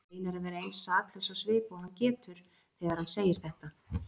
Hann reynir að vera eins saklaus á svip og hann getur þegar hann segir þetta.